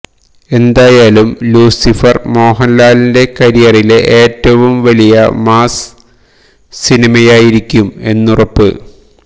എന്തായാലും ലൂസിഫര് മോഹന്ലാലിന്റെ കരിയറിലെ ഏറ്റവും വലിയ മാസ് സിനിമയായിരിക്കും എന്നുറപ്പ്